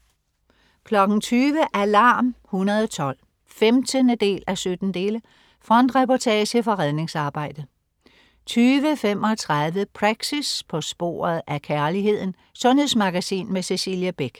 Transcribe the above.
20.00 Alarm 112 15:17. Frontreportage fra redningsarbejdet 20.35 Praxis. På sporet af kærligheden. Sundhedsmagasin med Cecilie Beck